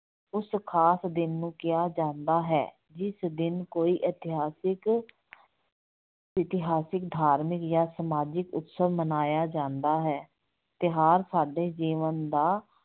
ਉਸ ਖਾਸ ਦਿਨ ਨੂੰ ਕਿਹਾ ਜਾਂਦਾ ਹੈ, ਜਿਸ ਦਿਨ ਕੋਈ ਇਤਿਹਾਸਿਕ ਇਤਿਹਾਸਿਕ, ਧਾਰਮਿਕ ਜਾਂ ਸਮਾਜਿਕ ਉਤਸਵ ਮਨਾਇਆ ਜਾਂਦਾ ਹੈ, ਤਿਉਹਾਰ ਸਾਡੇ ਜੀਵਨ ਦਾ